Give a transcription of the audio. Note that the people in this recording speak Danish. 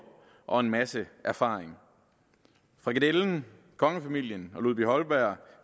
og en masse erfaring frikadellen kongefamilien og ludvig holberg